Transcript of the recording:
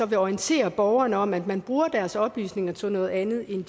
vil orientere borgerne om at man bruger deres oplysninger til noget andet end